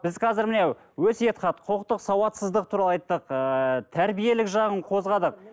біз қазір міне өсиет хат құқықтық сауатсыздық туралы айттық ыыы тәрбиелік жағын қозғадық